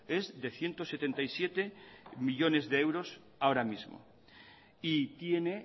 es de ciento setenta y siete millónes de euros ahora mismo y tiene